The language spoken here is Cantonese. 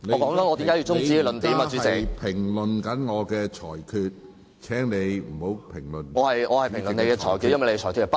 許智峯議員，你正在評論我的裁決，請你不要評論主席的裁決。